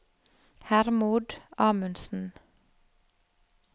Hermod Amundsen